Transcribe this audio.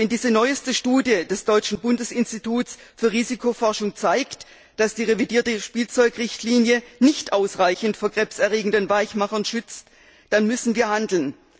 Und wenn diese neueste Studie des deutschen Bundesinstituts für Risikobewertung zeigt, dass die revidierte Spielzeugrichtlinie nicht ausreichend vor krebserregenden Weichmachern schützt, dann müssen wir handeln.